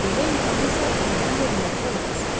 Belə imkanı isə əldən vermək olmaz.